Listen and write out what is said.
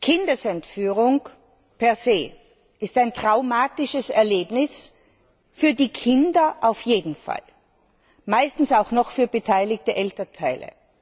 Kindeserführung per se ist ein traumatisches Erlebnis, für die Kinder auf jeden Fall, meistens auch noch für beteiligte Elternteile.